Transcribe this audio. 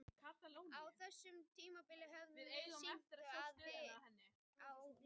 Á þessu tímabili höfum við sýnt að við erum lið.